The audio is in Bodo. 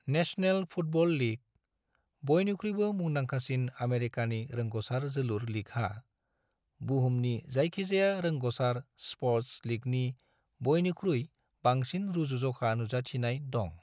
नेशनेल फुटबल लीग, बयनिख्रुयबो मुंदांखासिन आमेरिकानि रोंग'सार जोलुर लीगहा, बुहुमनि जायखिजाया रोंग'सार स्पर्ट्स लीगनि बयनिख्रुइ बांसिन रुजुजखा नुजाथिनाय दं।